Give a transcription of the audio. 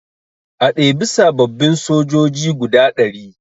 A ɗebi sababbin sojoji guda ɗari